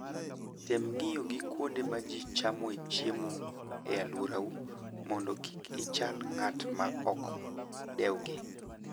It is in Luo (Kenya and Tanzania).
Tem ng'iyo gi kuonde ma ji chamoe chiemo e alworau mondo kik ichal ng'at ma ok dewgi.